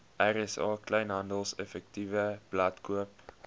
rsa kleinhandeleffektewebblad koop